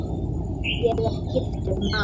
Ég er: giftur maður.